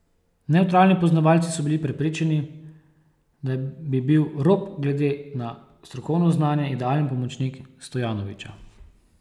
Nevtralni poznavalci so bili prepričani, da bi bil Rob glede na strokovno znanje idealen pomočnik Stojanovića.